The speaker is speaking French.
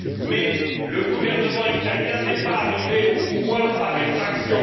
Mais le gouvernement italien n'est pas arrivé au pouvoir par effraction.